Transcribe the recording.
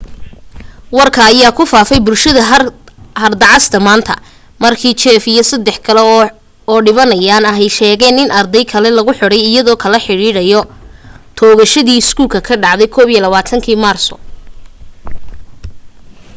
warka ayaa ku faafay bulshada harda cas manta markii jeff iyo sadex kale oo dhibanayaan ahi sheegeen in ardey kale lagu xidhay iyadoo lala xidhiidhinayo toogashadii iskoolka ka dhacday 21kii maarso